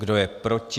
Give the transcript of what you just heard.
Kdo je proti?